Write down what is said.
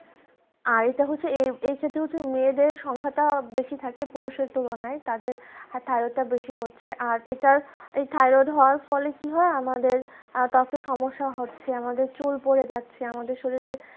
আর এটা হচ্ছে এই থেকে হচ্ছে মেয়েদের সংখ্যা টা বেশি থাকে পুরুষের তুলনায় তাদের thyroid টা বেশি হচ্ছে আর এটা এই thyroid হওয়ার ফলে কি হয় তো আমাদের এত সমস্যা হচ্ছে আমাদের চুল পড়ে যাচ্ছে আমাদের শরীরের